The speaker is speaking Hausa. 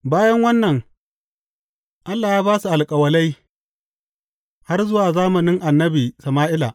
Bayan wannan, Allah ya ba su alƙalai har zuwa zamanin annabi Sama’ila.